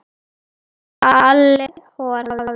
Halli hor hafði séð hann.